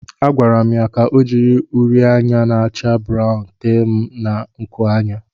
A gwara m ya ka o jiri uri anya na-acha brawụn tee m na nkuanya.